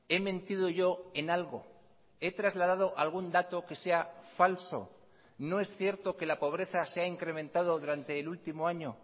he mentido yo en algo he trasladado algún dato que sea falso no es cierto que la pobreza se ha incrementado durante el último año